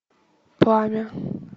пламя